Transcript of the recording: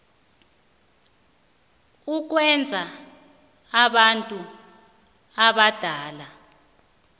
kukwenza abantu abadala